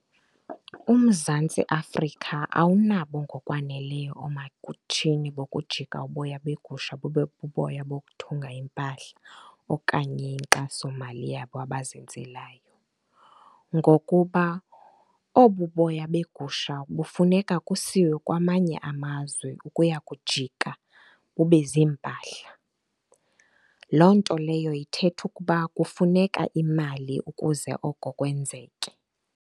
UMzantsi Afrika awunabo ngokwaneleyo oomatshini bokujika uboya beegusha bube buboya bokuthunga iimpahla okanye inkxasomali yabo abazenzelayo. Ngokuba obu boya begusha bufuneka kusiwe kwamanye amazwe ukuya kujika bube ziimpahla, loo nto leyo ithetha ukuba kufuneka imali ukuze oko kwenzeke.